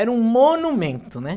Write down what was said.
Era um monumento, né?